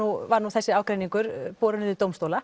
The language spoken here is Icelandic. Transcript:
var nú þessi ágreiningur borinn inn í dómstóla